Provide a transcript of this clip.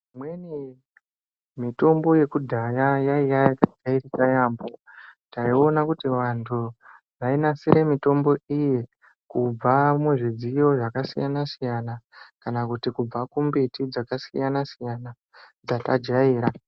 Imweni mitombo yekudhaya yaiya yaka jairika yambo taiona kuti vantu vai nasire mitombo iyi kubva mu zvidziyo zvaka siyana siyana kana kuti kubva kumbiti dzaka siyana siyana dzata jaira.